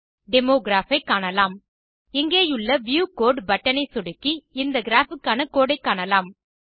demo graph ஐ காணலாம் இங்கேயுள்ள வியூ கோடு பட்டன் ஐ சொடுக்கி இந்த கிராப் க்கான கோடு ஐ காணலாம்